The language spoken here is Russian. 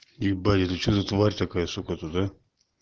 ибо это что за тварь такая сука тут а